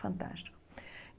Fantástico.